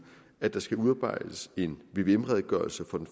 at der skal udarbejdes en vvm redegørelse for